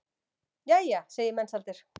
Jæja, segir Mensalder.